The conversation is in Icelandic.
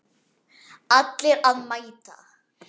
Allir að mæta!